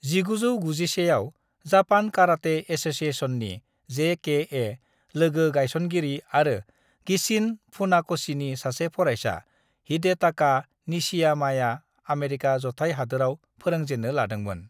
"1961 आव, Japan karate एस'सिएशननि (JKA) logo गायसनगिरि आरो गिचिन फुनाक'शीनि सासे फरायसा, हिडेटाका निशियामाया आमेरिका जथाय हादोराव फोरोंजेन्नो लादोंमोन।"